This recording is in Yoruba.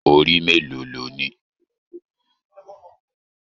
Orí mélòó lọ ní?